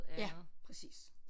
Ja præcis